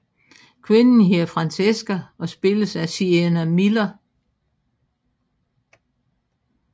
Kvinden hedder Francesca og spilles af Sienna Miller